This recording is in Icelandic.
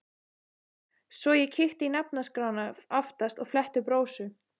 Svo ég kíkti í nafnaskrána aftast og fletti upp Rósu.